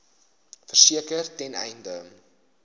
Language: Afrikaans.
verseker ten einde